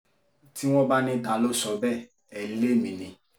tí wọ́n bá ní ta ló sọ bẹ́ẹ̀ ẹ́ lémi ni